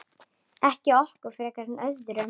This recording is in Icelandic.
Ekki okkur frekar en öðrum.